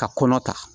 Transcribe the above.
Ka kɔnɔ ta